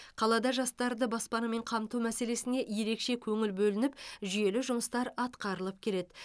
қалада жастарды баспанамен қамту мәселесіне ерекше көңіл бөлініп жүйелі жұмыстар атқарылып келеді